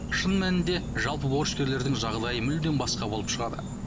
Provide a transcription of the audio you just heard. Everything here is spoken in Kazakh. шын мәнінде жалпы борышкерлердің жағдайы мүлдем басқа болып шығады